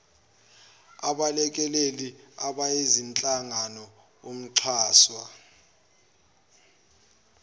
abelekeleli abayizinhlangano umxhaswa